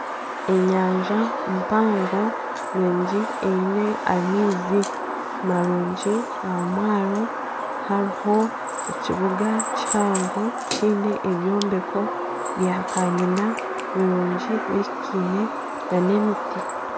Enyanja mpango nungi eine amaizi marungi ahamwaro hariho ekibuga kihango kiine ebyombeko bya kanyina birungi bihikaine nana emiti.